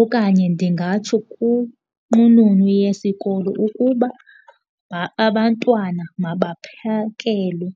okanye ndingatsho kwinqununu yesikolo ukuba abantwana mabaphekelwe.